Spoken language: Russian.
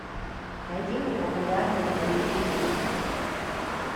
найди мне популярные боевики